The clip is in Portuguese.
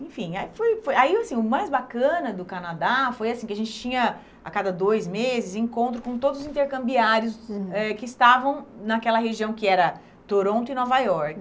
Enfim, aí foi aí assim o mais bacana do Canadá foi assim que a gente tinha, a cada dois meses, encontro com todos os intercambiários eh que estavam naquela região que era Toronto e Nova York.